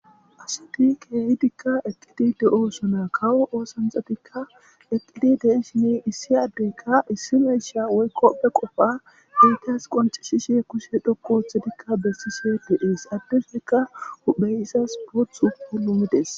Asti keehidikka eqqidi de'osonna kawo oosanchchatikka eqqidi de'ishini issi addeykka issi miishsha woykko be qofa hintes qoncisishes kushshe dhoqqu oththidikka besishe de'ees addezikka huphphey izas booththu pulumides